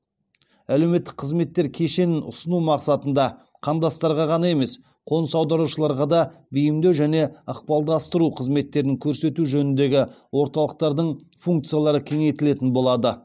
әлеуметтік қызметтер кешенін ұсыну мақсатында қандастарға ғана емес қоныс аударушыларға да бейімдеу және ықпалдастыру қызметтерін көрсету жөніндегі орталықтардың функциялары кеңейтілетін болады